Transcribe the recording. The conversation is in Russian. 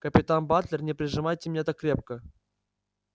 капитан батлер не прижимайте меня так крепко